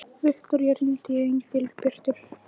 Viktoría, hringdu í Engilbjörtu.